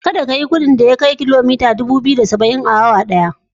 Kada ka yi gudun da ya kai kilomita dubu ɗaya da ɗari biyu da da saba'in a awa ɗaya.